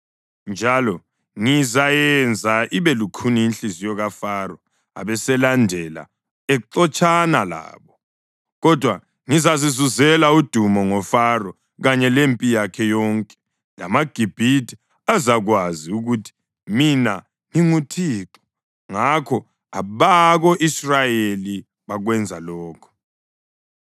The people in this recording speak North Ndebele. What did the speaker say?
Njalo ngizayenza ibe lukhuni inhliziyo kaFaro abeselandela exotshana labo. Kodwa ngizazizuzela udumo ngoFaro kanye lempi yakhe yonke, lamaGibhithe azakwazi ukuthi mina nginguThixo.” Ngakho abako-Israyeli bakwenza lokhu.